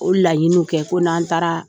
O ye laɲiniw kɛ ko n'an taara